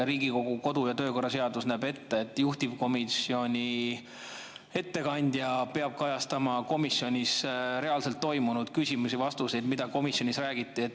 Riigikogu kodu‑ ja töökorra seadus näeb ette, et juhtivkomisjoni ettekandja peab kajastama komisjonis reaalselt toimunut, küsimusi ja vastuseid, seda, mida komisjonis räägiti.